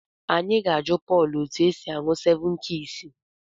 Anyị ga-ajụ Pọl etu esi aṅụ sevụn kiis.